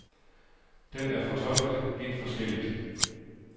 Den er fortolket vidt forskelligt.